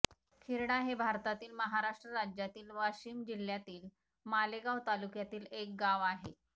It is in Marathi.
खिरडा हे भारतातील महाराष्ट्र राज्यातील वाशिम जिल्ह्यातील मालेगाव तालुक्यातील एक गाव आहे